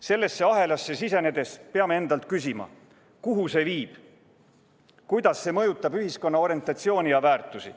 Sellesse ahelasse sisenedes peame endalt küsima, kuhu see viib, kuidas see mõjutab ühiskonna orientatsiooni ja väärtusi.